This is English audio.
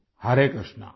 Hare Krishna